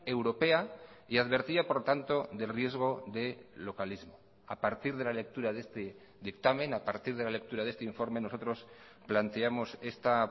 europea y advertía por tanto del riesgo de localismo a partir de la lectura de este dictamen a partir de la lectura de este informe nosotros planteamos esta